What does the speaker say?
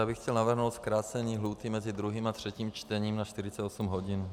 Já bych chtěl navrhnout zkrácení lhůty mezi druhým a třetím čtením na 48 hodin.